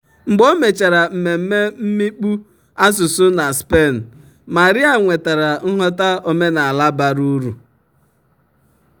"mgbe o mechara mmemme mmikpu asụsụ na spain maria nwetara nghọta omenala bara uru."